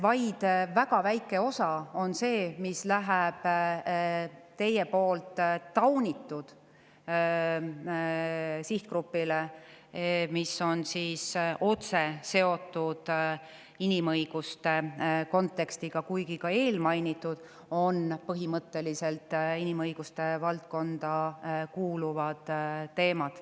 Vaid väga väike osa on see, mis läheb teie taunitud sihtgrupile, ja see on otse seotud inimõiguste kontekstiga, kuigi ka eelmainitud on põhimõtteliselt inimõiguste valdkonda kuuluvad teemad.